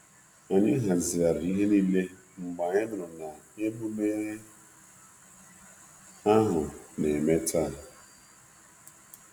Anyị hazigharịri ihe niile mgbe anyị nụrụ na emume ahu na-eme taa.